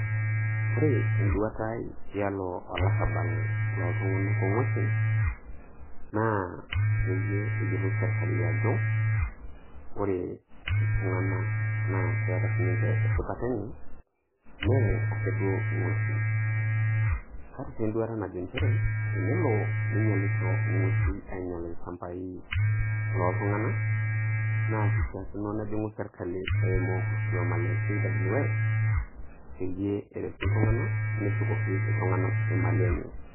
Ore enduata ai tialo olarabal oltungana ongwesin na peyie eyiolou serkali ajo ore iltungana na keeta sininche esipata enye me ake duo ingwesin kaata si enduata najo nchere tenelo ninyialisho ingwesin anyial ilchambai loontungana naa kishakino nejingu serkali ingua eimu olkioma le kws peyie eretu iltungana nshukoki iltungana imalii enye.